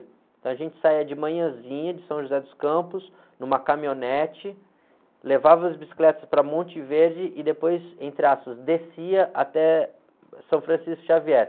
Então a gente saía de manhãzinha de São José dos Campos, numa caminhonete, levava as bicicletas para Monte Verde e depois, entre aspas, descia até São Francisco Xavier.